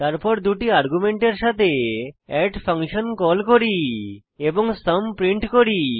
তারপর দুটি আর্গুমেন্টের সাথে এড ফাংশন কল করি এবং সুম প্রিন্ট করি